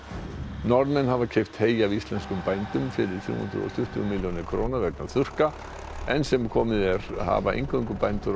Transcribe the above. Norðmenn hafa keypt hey af íslenskum bændum fyrir þrjú hundruð og tuttugu milljónir króna vegna þurrka enn sem komið er hafa eingöngu bændur á